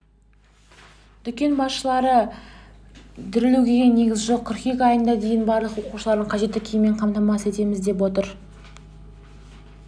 дүкен басшылары дүрлігуге негіз жоқ қыркүйек айына дейін барлық оқушыларды қажетті киіммен қамтамасыз етеміз деп отыр